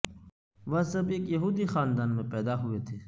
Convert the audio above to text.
وہ سب ایک یہودی خاندان میں پیدا ہوئے تھے